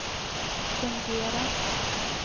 fungera